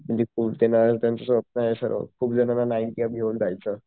स्वप्नय सरांच खूप जणांना नाईंटी अबाऊ घेऊन जायचं